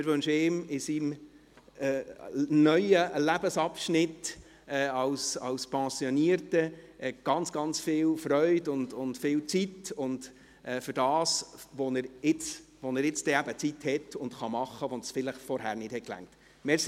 Wir wünschen ihm für seinen neuen Lebensabschnitt als Pensionierter ganz viel Freude und viel Zeit, auch für das, wofür er nun eben Zeit hat und das er dann tun kann, wofür die Zeit vorher vielleicht eben nicht gereicht hat.